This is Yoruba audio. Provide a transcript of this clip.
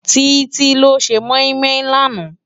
Titi ló sé moimoi làná?